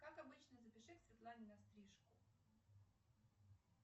как обычно запиши к светлане на стрижку